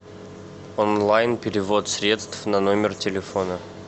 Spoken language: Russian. онлайн перевод средств на номер телефона